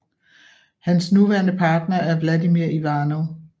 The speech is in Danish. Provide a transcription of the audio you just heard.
Hans nuværende partner er Vladimir Ivanov